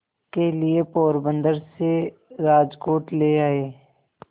के लिए पोरबंदर से राजकोट ले आए